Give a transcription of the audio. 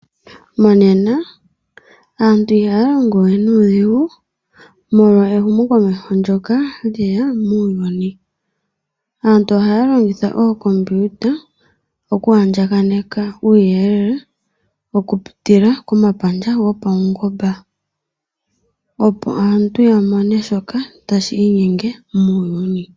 Monena aantu ihaya longowe nuudhigu molwa ehumo komeho ndyono lyeya muuyuni. Aantu ohaya longitha ookompiyuta oku andjakaneka uuyelele okupitila komapandja gopaungomba, opo aantu ya mone shoka tashi inyenge muuyuni.